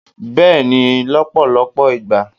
beeni lọpọlọpọ igba